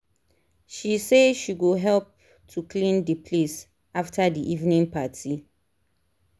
she say she go help to clean the place after the evening party